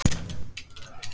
Gegn betri vitund.